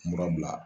Mura bila